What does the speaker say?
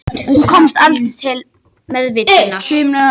Hún komst aldrei til meðvitundar